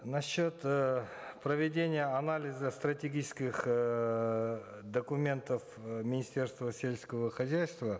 насчет э проведения анализа стратегических эээ документов э министерства сельского хозяйства